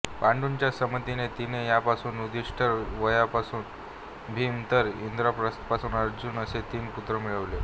पांडूच्या संमतीने तिने यमापासून युधिष्ठिर वायूपासून भीम तर इंद्रापासून अर्जुन असे तीन पुत्र मिळविले